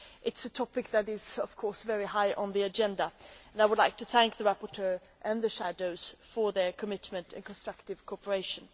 It is a topic that is of course very high on the agenda and I would like to thank the rapporteur and the shadow rapporteurs for their commitment and constructive cooperation.